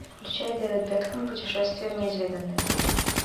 включай дэвид бекхэм путешествие в неизведанное